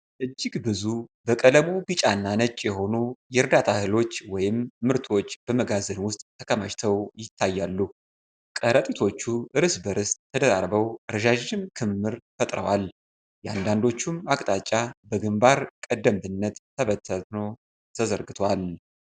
እጅግ ብዙ፣ በቀለሙ ቢጫና ነጭ የሆኑ የዕርዳታ እህሎች ወይም ምርቶች በመጋዘን ውስጥ ተከማችተው ይታያሉ። ከረጢቶቹ እርስ በርስ ተደራርበው ረዣዥም ክምር ፈጥረዋል፤ የአንዳንዶቹም አቅጣጫ በግንባር ቀደምትነት ተበታትኖ ተዘርግቷል።